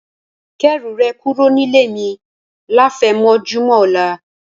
Kẹ́rù rẹ̀ kúrò nílé mi láfẹ̀mọ́júmọ̀ ọ̀la